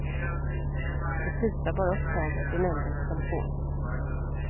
Det tutar bara upptaget i nämndens telefon.